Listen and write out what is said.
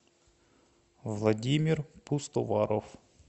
владимир пустоваров